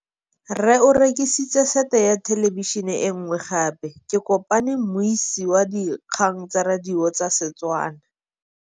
Rre o rekile sete ya thêlêbišênê e nngwe gape. Ke kopane mmuisi w dikgang tsa radio tsa Setswana.